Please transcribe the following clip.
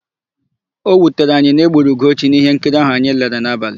O wutere anyị na-egburu Ugochi n'íhénkiri áhụ̀ anyị lere n'abalị.